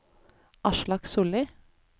Aslak Sollie